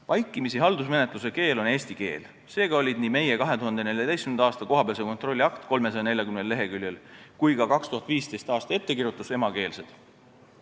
Vaikimisi on haldusmenetluse keel eesti keel, seega olid nii meie 2014. aasta kohapealse kontrolli akt kui ka 2015. aasta ettekirjutus emakeelsed.